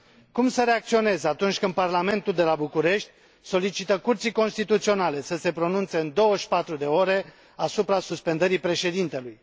Cum să reacționez atunci când Parlamentul de la București solicită Curții Constituționale să se pronunțe în 24 de ore asupra suspendării președintelui?